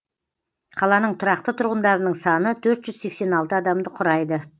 қаланың тұрақты тұрғындарының саны төрт жүз сексен алты адамды құрайды